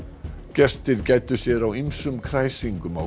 gestir gæddu sér á ýmsum kræsingum á